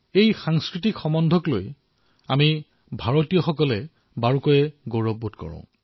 সাংস্কৃতিক সম্বন্ধক লৈ আমি ভাৰতীয়সকলে যথেষ্ট গৰ্ব অনুভৱ কৰো